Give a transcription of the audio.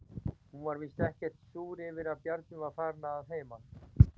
Hún var víst ekkert súr yfir að Bjarni var farinn að heiman.